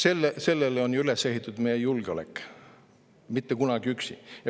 Sellele on ju üles ehitatud meie julgeolek: mitte kunagi üksi.